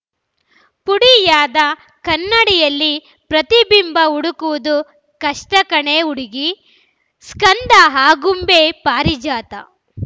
ಪುಡಿಯಾದ ಕನ್ನಡಿಯಲ್ಲಿ ಪ್ರತಿಬಿಂಬ ಹುಡುಕುವುದು ಕಷ್ಟಕಣೇ ಹುಡುಗಿ ಸ್ಕಂದ ಆಗುಂಬೆ ಪಾರಿಜಾತ